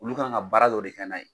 Olu kan ka baara dɔ de kɛ n'a ye.